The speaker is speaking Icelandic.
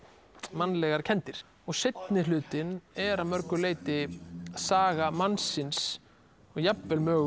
mannlegar kenndir seinni hlutinn er að mörgu leyti saga mannsins og jafnvel